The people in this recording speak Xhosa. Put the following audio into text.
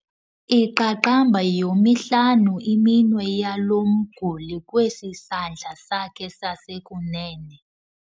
Iqaqamba yomihlanu iminwe yalo mguli kwesi sandla sakhe sasekunene.